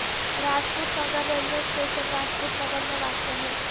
Rajput Nagar railway station Rajput Nagar میں واقع ہے